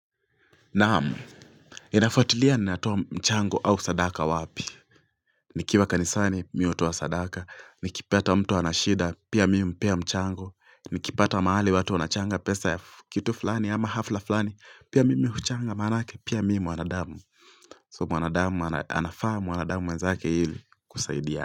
Naam, inafuatulia ni natoa mchango au sadaka wapi. Nikiwa kanisani mimi hutoa sadaka, nikipata mtu ana shida, pia mimi humpea mchango, nikipata mahali watu wanachanga pesa ya kitu fulani ama hafla fulani, pia mimi huchanga maanake, pia mimi mwanadamu. So mwanadamu anafaa mwanadamu mwenzake ili kusaidia.